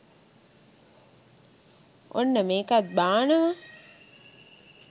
ඔන්න මෙකත් බානවා